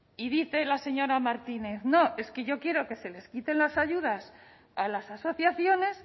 y dice la señora martínez no es que yo quiero que se les quiten las ayudas a las asociaciones